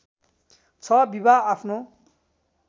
६ विवाह आफ्नो